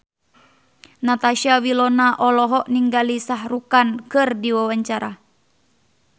Natasha Wilona olohok ningali Shah Rukh Khan keur diwawancara